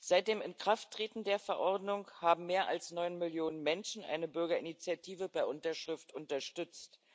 Seit dem Inkrafttreten der Verordnung haben mehr als neun Millionen Menschen eine Bürgerinitiative per Unterschrift unterstützt.